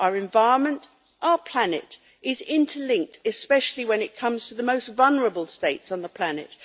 Our environment, our planet, is interlinked, especially when it comes to the most vulnerable states on the planet.